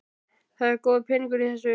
Það er góður peningur í þessu.